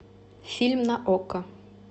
фильм на окко